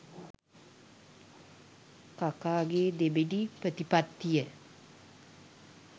කකාගේ දෙබිඩි ප්‍රතිපත්තිය.